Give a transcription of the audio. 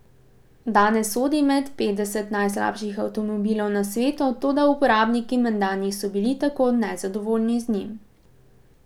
Danes sodi med petdeset najslabših avtomobilov na svetu, toda uporabniki menda niso bili tako nezadovoljni z njim.